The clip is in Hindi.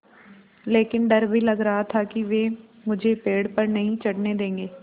लेकिन डर भी लग रहा था कि वे मुझे पेड़ पर नहीं चढ़ने देंगे